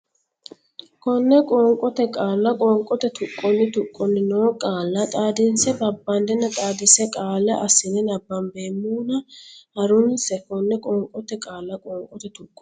Konne qoonqote Qaalla qoonqote tuqqonni tuqqoni noo qaale xaadinse babbadanna xaadisa qaale assine nabbambeemmona ha runse Konne qoonqote Qaalla qoonqote tuqqonni.